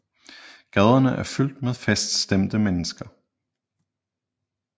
Gaderne er fyldte med feststemte mennesker